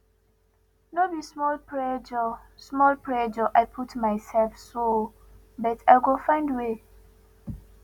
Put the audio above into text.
no be small pressure small pressure i put mysef so but i go find way